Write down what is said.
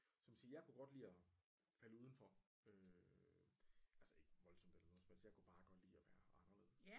Som jeg siger jeg kunne godt lide og falde udenfor øh altså ikke voldsomt eller noget som helst jeg kunne bare godt lide og være anderledes